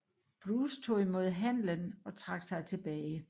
Bruce tog imod handlen og trak sig tilbage